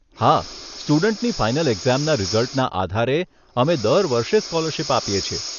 હા, સ્ટુડન્ટની ફાઇનલ એક્ઝામના રીઝલ્ટના આધારે અમે દર વર્ષે સ્કોલરશીપ આપીએ છીએ.